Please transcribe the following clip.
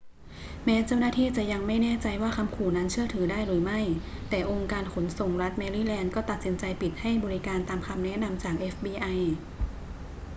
แม้เจ้าหน้าที่จะยังไม่แน่ใจว่าคำขู่นั้นเชื่อถือได้หรือไม่ แต่องค์การขนส่งรัฐแมรี่แลนด์ก็ตัดสินใจปิดให้บริการตามคำแนะนำจาก fbi